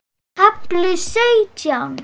KAFLI SAUTJÁN